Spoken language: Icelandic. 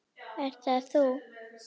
Ert það þú?